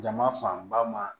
Jama fanba ma